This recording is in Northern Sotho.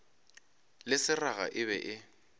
le seraga e be e